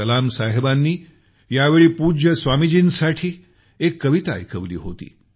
कलाम साहेबांनी यावेळी पूज्य स्वामीजींसाठी एक कविता ऐकवली होती